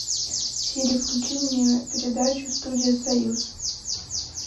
сири включи мне передачу студия союз